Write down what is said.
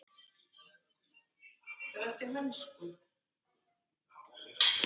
Hann var á aldur við